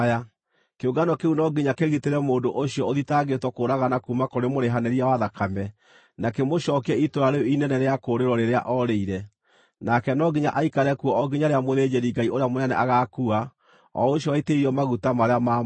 Kĩũngano kĩu no nginya kĩgitĩre mũndũ ũcio ũthitangĩirwo kũũragana kuuma kũrĩ mũrĩhanĩria wa thakame, na kĩmũcookie itũũra rĩu inene rĩa kũũrĩrwo rĩrĩa oorĩire. Nake no nginya aikare kuo o nginya rĩrĩa mũthĩnjĩri-Ngai ũrĩa mũnene agaakua, o ũcio waitĩrĩirio maguta marĩa maamũre.